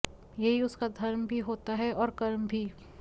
यही उसका धर्म भी होता है और कर्म भी